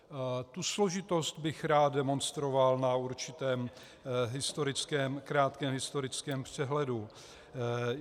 Tu složitost bych rád demonstroval na určitém krátkém historickém přehledu.